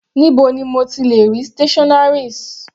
Níbo ni mo ti lè rí stationaries?